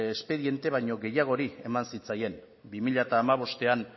espediente baino gehiagori eman zitzaien bi mila hamabostean